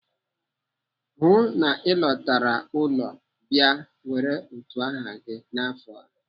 Hụụ na Ị lọtara ụlọ bịa were utu aha gị n'afọ!